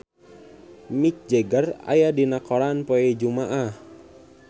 Mick Jagger aya dina koran poe Jumaah